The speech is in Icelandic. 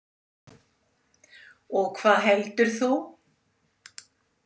Og hvað heldur þú?